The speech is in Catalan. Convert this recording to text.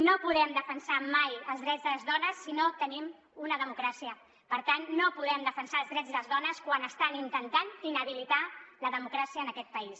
no podem defensar mai els drets de les dones si no tenim una democràcia per tant no podem defensar els drets de les dones quan estan intentant inhabilitar la democràcia en aquest país